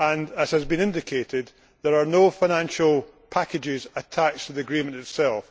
As has been indicated, there are no financial packages attached to the agreement itself.